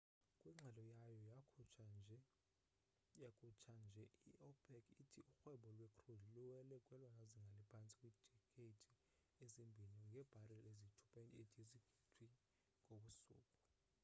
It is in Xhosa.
kwingxelo yayo yakhutsha nje i opec ithi urhwebo lwe crude luwele kwelona zinga liphantsi kwidikeydzi ezimbini ngebhareli eziyi 2.8 yezigidi ngosuku